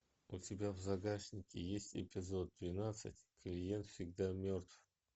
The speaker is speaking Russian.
у тебя в загашнике есть эпизод двенадцать клиент всегда мертв